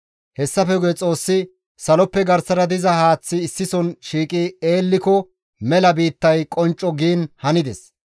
Hessafe guye Xoossi, «Saloppe garsara diza haaththi issison shiiqi eelliko mela biittay qoncco» giin hanides.